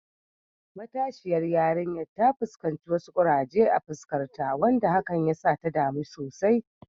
Matasiyar yarinyar ta fuskanci wasu kuraje a fuskarta, wanda hakan ya sa ta damu sosai.